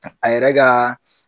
A yɛrɛ ka